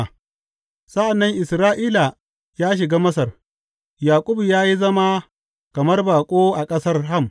Sa’an nan Isra’ila ya shiga Masar; Yaƙub ya yi zama kamar baƙo a ƙasar Ham.